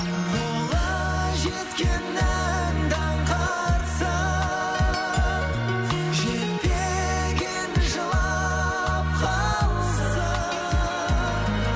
қолы жеткеннің даңқы атсын жетпеген жылап қалсын